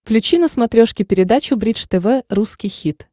включи на смотрешке передачу бридж тв русский хит